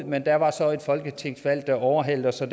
men der var så et folketingsvalg der overhalede os og